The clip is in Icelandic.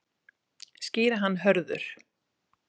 Skýra hann Hörður.